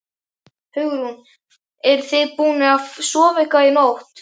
Hugrún: Eruð þið búnir að sofa eitthvað í nótt?